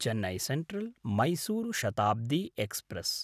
Chennai सेन्ट्रल्–मैसूरु Shatabdi express